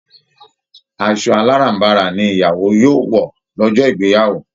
Asọ aláràm̀barà ni ìyàwó yòo wọ lọ́jọ́ ìgbeyàwó